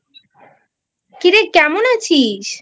কিরে কেমন আছিস?